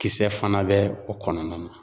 Kisɛ fana bɛ o kɔnɔna na.